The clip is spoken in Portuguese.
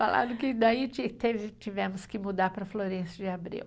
Falaram que daí ti teve, tivemos que mudar para a Florêncio de Abreu.